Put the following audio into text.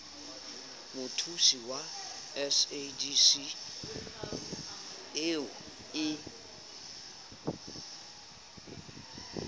mothusi wa sadc eo e